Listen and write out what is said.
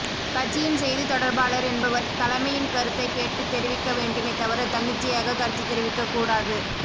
கட்சியின் செய்தி தொடர்பாளர் என்பவர் தலைமையின் கருத்தைக் கேட்டு தெரிவிக்க வேண்டுமே தவிர தன்னிச்சையாக கருத்து தெரிவிக்க கூடாது